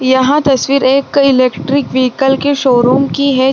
यह तस्वीर एक इलेक्ट्रिक विकल की शोरूम की है।